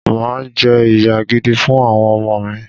Mà á jẹ́ ìyá gidi fún àwọn ọmọ mi